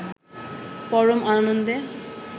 পরম আনন্দে